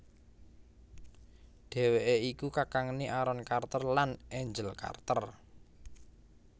Dhèwèké iku kakangné Aaron Carter lan Angel Carter